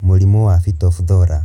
Mũrimũ wa Phytophthora